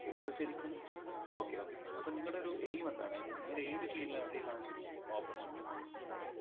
ശരിക്കും okay okay fine അപ്പോ നിങ്ങടെ ഒരു aim എന്താണ്. I mean നിങ്ങളേത് field ലേക്കകത്താണ് ശരിക്കും opportunity നോക്കുന്നുണ്ടായിരുന്നത്